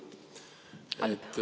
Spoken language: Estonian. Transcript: Halb, halb.